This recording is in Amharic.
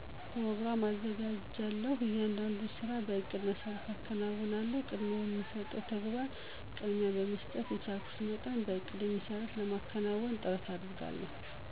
ኘሮግራም አዘጋጃለሁ። እያንዳንዱን ስራ በእቅዴ መሰረት አከናውናለሁ። ቅድሚያ የሚሰጠውን ተግባር ቅድሚያ በመስጠት በቻልኩት መጠን በእቅዴ መሰረት ለማከናወን ጥረት አደርጋለሁ።